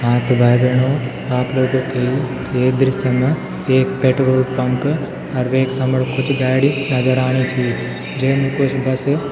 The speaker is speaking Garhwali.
हाँ त भाई भेणाे आप लोगों थे ये दृश्य मा एक पेट्रोल पंप अर वेक समण कुछ गाडी नजर आणि छी जेम कुछ बस --